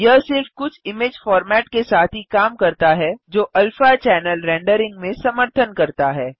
यह सिर्फ़ कुछ इमेज़ फोर्मैट के साथ ही काम करता है जो अल्फा चैनल रेंडरिंग में समर्थन करता है